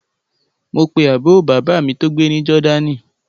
Mo pe àbúrò bàbá mi tó gbé ní Jordan